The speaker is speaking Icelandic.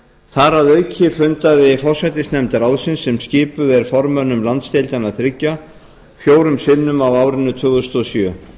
þar að auki fundaði forsætisnefnd ráðsins sem skipuð er formönnum landsdeildanna þriggja fjórum sinnum á árinu tvö þúsund og sjö